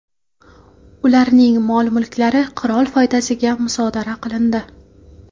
Ularning mol-mulklari qirol foydasiga musodara qilindi.